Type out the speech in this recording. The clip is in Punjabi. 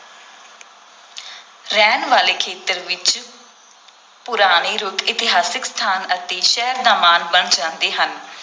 ਰਹਿਣ ਵਾਲੇ ਖੇਤਰ ਵਿਚ ਪੁਰਾਣੇ ਰੁੱਖ ਇਤਿਹਾਸਕ ਸਥਾਨ ਅਤੇ ਸ਼ਹਿਰ ਦਾ ਮਾਣ ਬਣ ਜਾਂਦੇ ਹਨ।